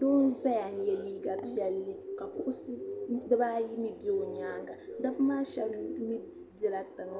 Doo zaya n ye liiga piɛlli kuɣisi dibaayi mi bɛ o nyaaŋa dabba maa shɛba mi bɛla tinŋ